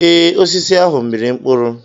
Ee, osisi ahụ mịrị mkpụrụ.